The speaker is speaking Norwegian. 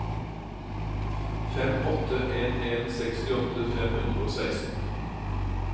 fem åtte en en sekstiåtte fem hundre og seksten